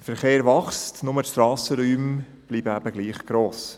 Der Verkehr wächst, doch die Strassenräume bleiben gleich gross.